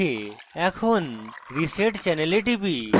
এখন reset channel এ টিপি